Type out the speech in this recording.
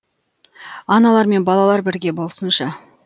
аналар мен балалар бірге болсыншы